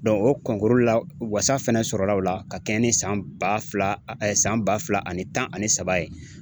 o la wasa fɛnɛ sɔrɔla o la ka kɛɲɛ ni san ba fila san ba fila ani tan ani saba ye